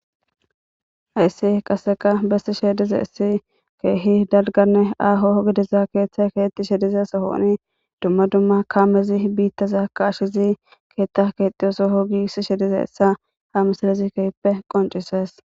Ayssi qasseka bessi sheedize issi keehi dalganne aaho gediza keeththe keetti shedize sohooni dumma dumma kaamezi biittazaaka ashizi keeththa keexxiyoso ho gi si shedize essa ha misalizi kehppe qoncises.